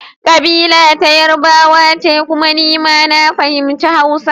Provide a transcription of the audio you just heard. Kabila ta Yarbawa ce kuma ni ma na fahimci Hausa.